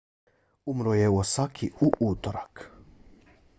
umro je u osaki u utorak